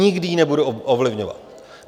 Nikdy ji nebudu ovlivňovat.